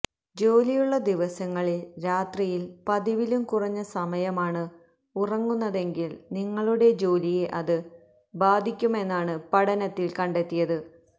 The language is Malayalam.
ജോലിയുളള ദിവസങ്ങളിൽ രാത്രിയിൽ പതിവിലും കുറഞ്ഞ സമയമാണ് ഉറങ്ങുന്നതെങ്കിൽ നിങ്ങളുടെ ജോലിയെ അത് ബാധിക്കുമെന്നാണ് പഠനത്തിൽ കണ്ടെത്തിയത്